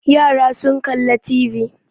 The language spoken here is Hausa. Yara sun kalli TV.